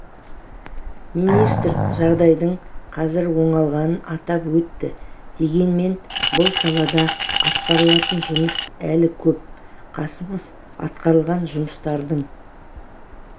министр жағдайдың қазір оңалғанын атап өтті дегенмен бұл салада атқарылатын жұмыс әлі көп қасымов атқарылған жұмыстардың